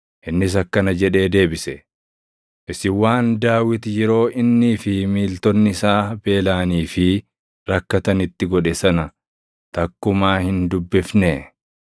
Innis akkana jedhee deebise; “Isin waan Daawit yeroo innii fi miiltonni isaa beelaʼanii fi rakkatanitti godhe sana takkumaa hin dubbifnee?